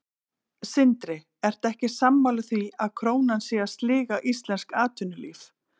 Sindri: Ertu ekki sammála því að krónan sé að sliga íslenskt atvinnulíf?